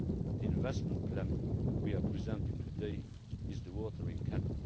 The investment plan we are presenting today is the watering can.